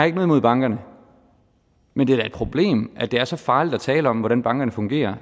imod bankerne men det er da et problem at det er så farligt at tale om hvordan bankerne fungerer